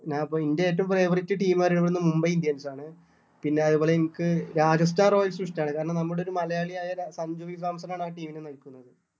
ഞാൻ ഇപ്പൊ എൻ്റെ ആയിട്ട് favourite team ആരാണെന്ന് പറഞ്ഞ മുംബൈ indians ആണ് പിഇന്നെ അതുപോലെ എനിക്ക് രാജസ്ഥാൻ royals ഇഷ്ടാണ് കാരണം നമ്മുടെ ഒരു മലയാളി ആയ സഞ്ജു വി സാംസൺ ആണ് ആ team നെ നയിക്കുന്നത്